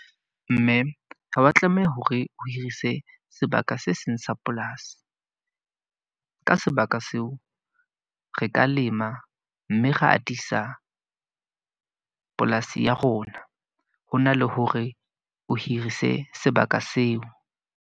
Mme ha wa tlameha hore ho hirise sebaka se seng sa polasi. Ka sebaka seo, re ka lema, mme re atisa polasi ya rona. Ho na le hore o hirise sebaka seo.